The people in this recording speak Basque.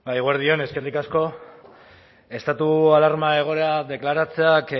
eguerdi on eskerrik asko estatuak alarma egoera deklaratzeak